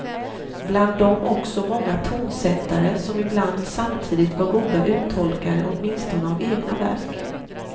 Bland dem också många tonsättare, som ibland samtidigt var goda uttolkare åtminstone av egna verk.